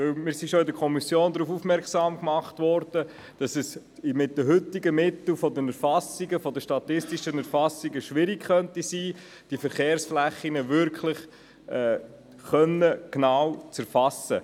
Wir wurden bereits in der Kommission darauf aufmerksam gemacht, dass es mit den heutigen Mitteln für die statistische Erfassung schwierig sein könnte, die Verkehrsflächen wirklich genau zu erfassen.